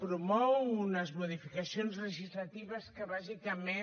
promou unes modificacions legislatives que bàsicament